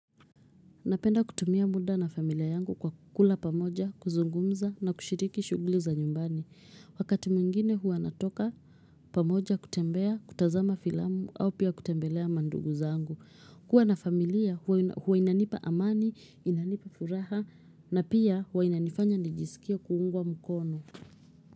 Napenda kutumia muda na familia yangu kwa kula pamoja, kuzungumza na kushiriki shughuli za nyumbani. Wakati mwingine huwa natoka pamoja kutembea, kutazama filamu au pia kutembelea mandugu zangu. Kuwa na familia huwa inanipa amani, inanipa furaha na pia huwa inanifanya nijisikie kuungwa mukono.